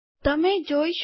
તમે જોઈ શકો